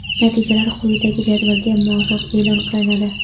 Natijalar quyidagi jadvalga muvofiq e’lon qilinadi:.